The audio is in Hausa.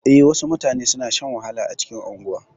E, wasu mutane suna shan wahala a cikin unguwa.